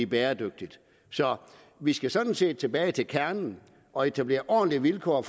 bæredygtigt så vi skal sådan set tilbage til kernen og etablere ordentlige vilkår